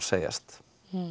segjast